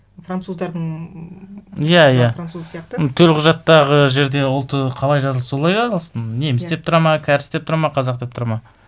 француздардың ммм иә иә мына француз сияқты төлқұжаттағы жерде ұлты қалай жазылса солай жазылсын неміс деп тұрады ма кәріс деп тұрады ма қазақ деп тұрады ма